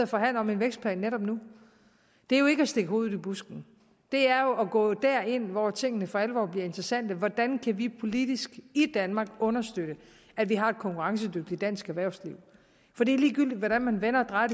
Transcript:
forhandler om en vækstplan netop nu det er jo ikke at stikke hovedet i busken det er jo at gå derind hvor tingene for alvor bliver interessante hvordan kan vi politisk i danmark understøtte at vi har et konkurrencedygtigt dansk erhvervsliv det er ligegyldigt hvordan man vender og drejer